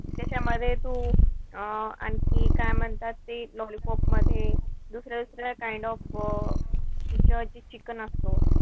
त्याच्यामध्ये तू अं आणखी काय म्हणतात ते lollipop मध्ये, जो दुसऱ्या-दुसऱ्या kind of त्याच्यावरती chicken असतो.